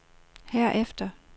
herefter